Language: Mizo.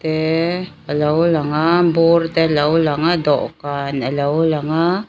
te alo lang a bur te alo lang a dawhkan alo lang a.